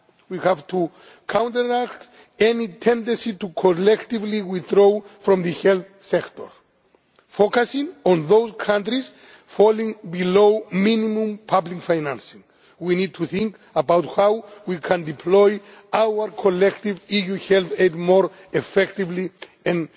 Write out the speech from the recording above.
We have to counteract any tendency to withdraw collectively from the health sector, focusing on those countries falling below minimum public financing. We need to think about how we can deploy our collective EU health aid more effectively